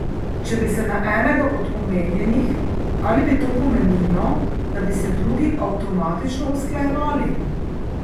Če bi se na enega od omenjenih, ali bi to pomenilo, da bi se drugi avtomatično usklajevali?